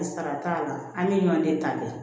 Sara t'a la an bɛ ɲɔnden ta de